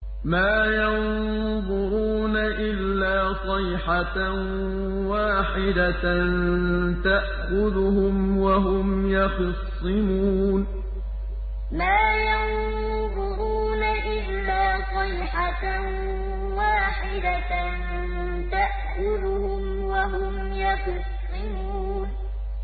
مَا يَنظُرُونَ إِلَّا صَيْحَةً وَاحِدَةً تَأْخُذُهُمْ وَهُمْ يَخِصِّمُونَ مَا يَنظُرُونَ إِلَّا صَيْحَةً وَاحِدَةً تَأْخُذُهُمْ وَهُمْ يَخِصِّمُونَ